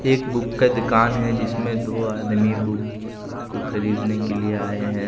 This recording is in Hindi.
एक बुक का दुकान है जिसमें दो आदमी बुक को खरीदने के लिए आए हैं।